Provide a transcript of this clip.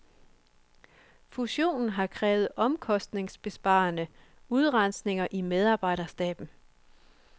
Fussionen har krævet omkostningsbesparende udrensninger i medarbejderstaben.